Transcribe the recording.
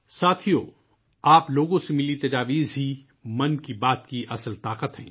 ساتھیو ، آپ لوگوں سے ملے مشورے ہی '' من کی بات '' کی اصل طاقت ہیں